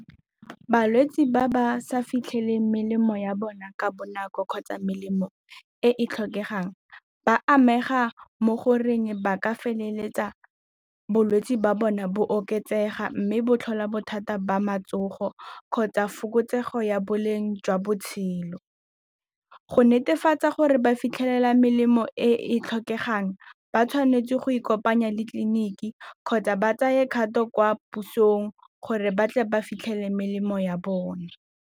Balwetse ba ba sa fitlhele melemo ya bona ka bonako kgotsa melemo e e tlhokegang ba amega mo goreng ba ka feleletsa bolwetse ba bona bo oketsega mme bo tlhola bothata ba matsogo kgotsa fokotsego ya boleng jwa botshelo. Go netefatsa gore ba fitlhelela melemo e e tlhokegang ba tshwanetse go ikopanya le tleliniki kgotsa ba tsaya kgato kwa pusong gore ba tle ba fitlhele melemo ya bone.